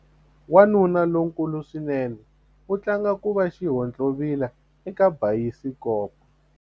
Wanuna lonkulu swinene u tlanga ku va xihontlovila eka bayisikopo.